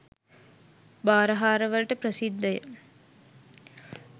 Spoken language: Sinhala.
බාරහාරවලට ප්‍රසිද්ධය